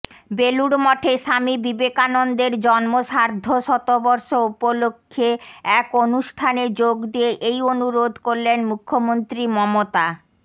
বেলুড়মঠে স্বামী বিবেকানন্দের জন্ম সার্ধশতবর্ষ উপলক্ষে এক অনুষ্ঠানে যোগ দিয়ে এই অনুরোধ করলেন মুখ্যমন্ত্রী মমতা